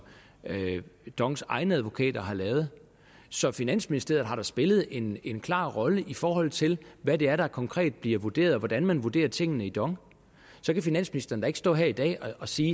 dongs egne advokater har lavet så finansministeriet har da spillet en en klar rolle i forhold til hvad det er der konkret bliver vurderet og hvordan man vurderer tingene i dong så finansministeren kan da ikke stå her i dag og sige